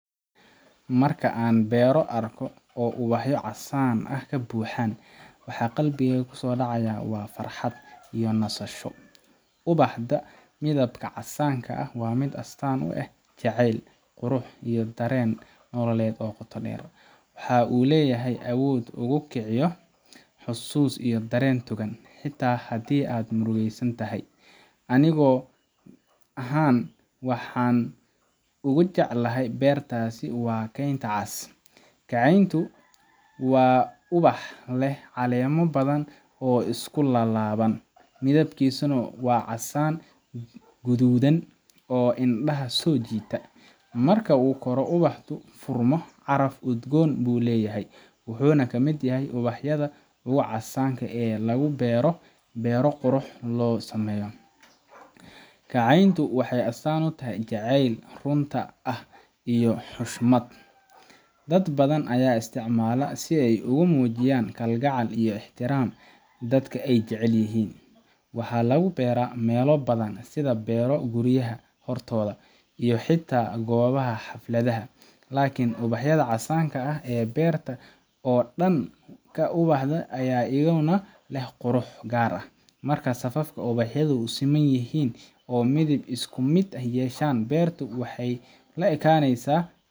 Markan an beero arkoh oo uwaxyavcasan aah kabuuxa waxa qabikeyga kusodacaya wa farxad iyo nasasho , ubaxda methibka cadanga wa mid astaan u eeh jaceel qurux iyo jaceel nololet oo qoto dheer waxa oo leeyahay awood ugukijiyoh xusus iyo dereen togan xata aad murugesanthay Anika ahaan waxan ugu jeclahay beertasi wakeenta caas kaceento wa ubaxa Qima bathan oo iskulalawan mithekisanah wa casan kuthuthan oo indhaa sojeetah marku furmoh ubaxdu ubax udgoon ayuleeyahay waxuna kamit yahay ubaxyada lagu beeroh beero quruxbathan oo sameeyoh kaceento waxa astaan u tahay jaceelkou waxu astaan u yahay xushmat iyo ixtiraam iyo xata koobaha xafaladha iklni cubaxyada casasngab beeraha oo dahan kan u baxday Aya lasinaya qurux Gaar aah marka safafa xetht u semantahin oo mithib iskumit yeeshan beerta waxay.